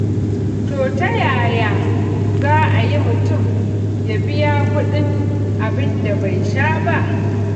To ta yaya za a yi mutum ya biya kuɗin abin da bai sha ba?